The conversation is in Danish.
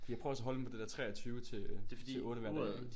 Fordi jeg prøver også at holde den på det der 23 til til 8 hver dag